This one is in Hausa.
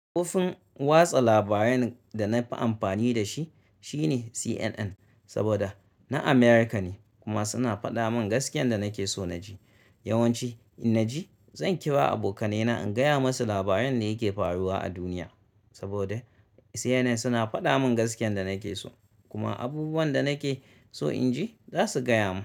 Kofin watsa labaran da na fi amfani da shi shine CNN, saboda na Amurka ne kuma suna faɗa mun gaskiyan da nake so na ji. Yawanci in na ji zan kira abokanai na in gaya masu labaran da yake faruwa a duniya, saboda CNN suna fada mun gaskiyan da nake so kuma abubuwan da nake so in ji za su gaya mun.